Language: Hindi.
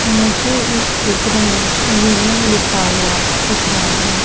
मुझे इस चित्र में यूनियन लिखा हुआ दिख रहा है।